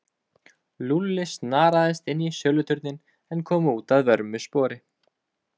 Lúlli snaraðist inn í söluturninn en kom út að vörmu spori.